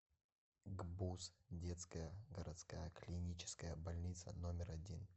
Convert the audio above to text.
гбуз детская городская клиническая больница номер один